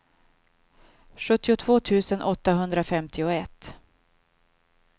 sjuttiotvå tusen åttahundrafemtioett